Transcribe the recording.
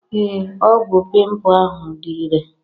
Ee ọgwụ pimpu ahụ dị irè.